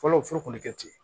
Fɔlɔ fɔlɔ tun bɛ kɛ ten